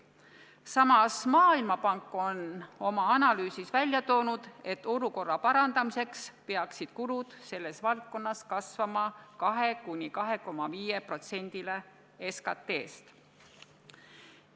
Samas Maailmapank on oma analüüsis välja toonud, et olukorra parandamiseks peaksid kulud selles valdkonnas kasvama 2–2,5%-ni SKT-st.